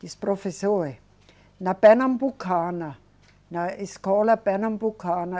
Diz, professor, eh, na Pernambucana, na escola Pernambucana.